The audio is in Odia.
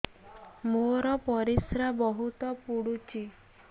ମୋର ପରିସ୍ରା ବହୁତ ପୁଡୁଚି